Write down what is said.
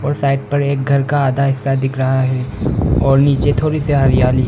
वो साइड पर एक घर का आधा हिस्सा दिख रहा है और नीचे थोड़ी सी हरियाली है।